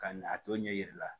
Ka na a to ɲɛ yira la